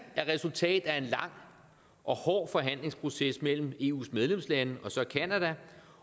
er resultatet af en lang og hård forhandlingsproces mellem eus medlemslande